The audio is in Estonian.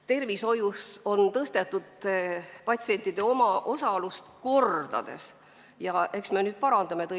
Tervishoius on patsientide omaosalust kordades tõstetud ja eks me nüüd siis parandame seda.